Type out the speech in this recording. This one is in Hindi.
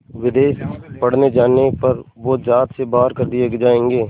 विदेश पढ़ने जाने पर वो ज़ात से बाहर कर दिए जाएंगे